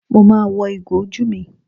Mo ma wọ ìgò ojú mi.